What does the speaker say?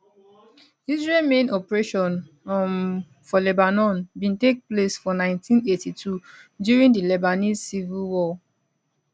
israel main operation um for lebanon bin take place for 1982 during di lebanese civil war